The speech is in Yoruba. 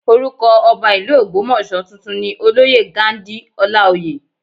Orúkọ Ọba ìlú Ogbomoso tuntun ni olóyè Ghandi Olaoye